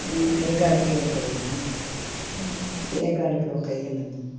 ਮੈਨੂੰ ਇਹ ਗੱਲ ਕਿਉ ਕਹੀ ਆ ਤੇ ਇਹ ਗੱਲ ਕਿਉ ਕਹੀ ਆ ਮੈਨੂੰ